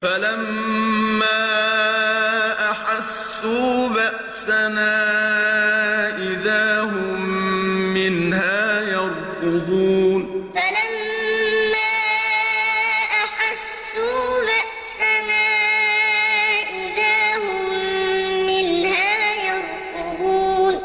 فَلَمَّا أَحَسُّوا بَأْسَنَا إِذَا هُم مِّنْهَا يَرْكُضُونَ فَلَمَّا أَحَسُّوا بَأْسَنَا إِذَا هُم مِّنْهَا يَرْكُضُونَ